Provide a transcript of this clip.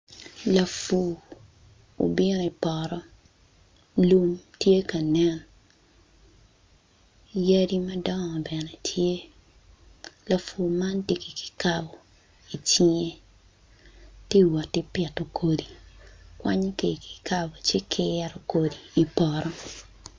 Lapur obino i poto lum tye ka nen yadi madongo bene tye lapur man tye ki kikabo i cinge tye ka wot ki pito kodi kwanyo ki i kikabo ci kiro i poto.